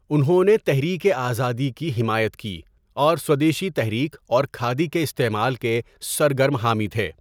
انہوں نے تحریک آزادی کی حمایت کی اور سودیشی تحریک اور کھادی کے استعمال کے سرگرم حامی تھے۔